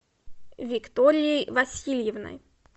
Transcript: викторией васильевной